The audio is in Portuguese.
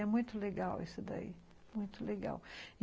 É muito legal isso daí, muito legal.